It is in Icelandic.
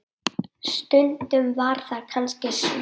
Stundum var það kannski svo.